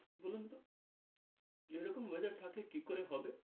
বলুন তো, এরকম weather থাকলে কি করে হবে?